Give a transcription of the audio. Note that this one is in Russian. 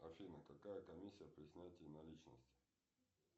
афина какая комиссия при снятии наличности